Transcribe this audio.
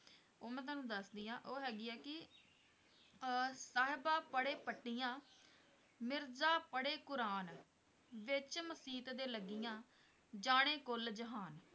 ਉਹ ਮੈਂ ਤੁਹਾਨੂੰ ਦੱਸਦੀ ਹਾਂ ਉਹ ਹੈਗੀ ਆ ਕਿ ਅਹ ਸਾਹਿਬਾਂ ਪੜ੍ਹੇ ਪੱਟੀਆਂ, ਮਿਰਜਾ ਪੜ੍ਹੇ ਕੁੁਰਾਨ ਵਿੱਚ ਮਸੀਤ ਦੇ ਲੱਗੀਆਂ, ਜਾਣੇ ਕੁੱਲ ਜਹਾਨ।